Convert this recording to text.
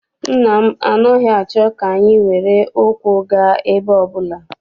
Nna m anaghị achọ ka anyị were ụkwụ gaa ebe ọbụla.